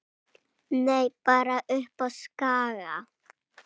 Nei, bara uppi á Skaga.